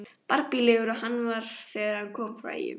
Barbílegur og hann var þegar hann kom frá Eyjum.